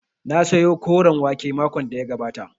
Na sayo koren wake makon da ya gabata